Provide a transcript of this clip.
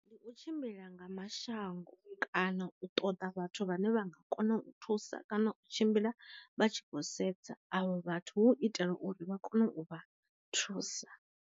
Ndi u tshimbila nga mashango kana u ṱoḓa vhathu vhane vha nga kona u thusa kana u tshimbila vha tshi khou sedza avho vhathu hu itela uri vha kone u vha thusa.